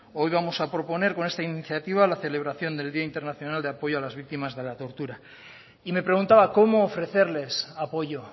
hoy vamos a proponer con esta iniciativa la celebración del día internacional de apoyo a las víctimas de la tortura y me preguntaba cómo ofrecerles apoyo